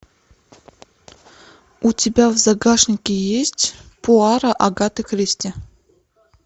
у тебя в загашнике есть пуаро агаты кристи